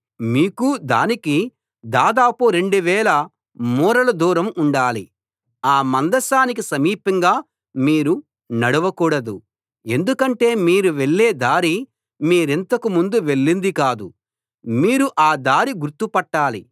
మీకూ దానికీ దాదాపు రెండువేల మూరల దూరం ఉండాలి ఆ మందసానికి సమీపంగా మీరు నడవకూడదు ఎందుకంటే మీరు వెళ్ళే దారి మీరింతకు ముందు వెళ్ళింది కాదు మీరు ఆ దారి గుర్తుపట్టాలి